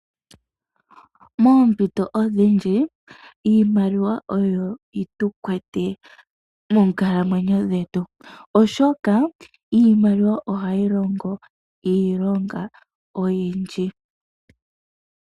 Moompito oodhindji iimaliwa oyo yetu kwata moonkalamwenyo dhetu oshoka iimaliwa ohayi longo iilonga oyindji.